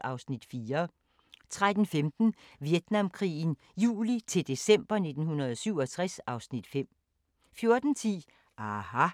(Afs. 4)* 13:15: Vietnamkrigen juli-december 1967 (Afs. 5) 14:10: aHA!